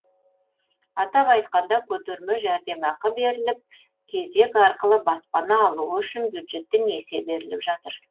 атап айтқанда көтерме жәрдемақы беріліп кезек арқылы баспана алуы үшін бюджеттен несие беріліп жатыр